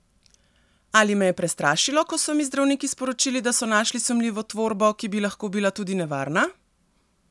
Ali me je prestrašilo, ko so mi zdravniki sporočili, da so našli sumljivo tvorbo, ki bi lahko bila tudi nevarna?